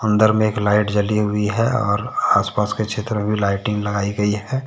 अन्दर में एक लाइट जली हुई है और आसपास के क्षेत्र में भी लाइटिंग लगाई गई है।